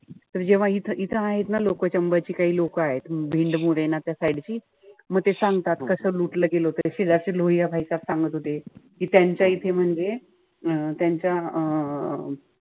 तर जेव्हा इथं इथं आहेत ना लोक चंबळची काही लोक आहेत. त्या side ची. म ते सांगतात कस लुटलं गेलं होत. शेजारचे सांगत होते. कि त्यांच्या इथे म्हणजे अं त्यांच्या अं